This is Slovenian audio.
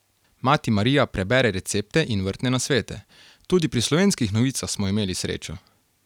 Mati Marija prebere recepte in vrtne nasvete: "Tudi pri Slovenskih novicah smo imeli srečo.